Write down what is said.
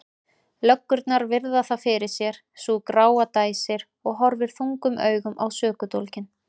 Löggurnar virða það fyrir sér, sú gráa dæsir og horfir þungum augum á sökudólginn.